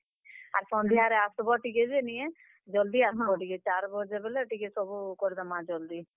ଆର୍ ସନ୍ଧ୍ୟାରେ ଆସ୍ ବ ଟିକେ ଯେ ନିଁ କେଁ, ଜଲ୍ ଦି ଆସ୍ ବ ଟିକେ ଚାର୍ ବଜେ ବେଲେ ଟିକେ ସବୁ କରିଦେମା ଜଲ୍ ଦି।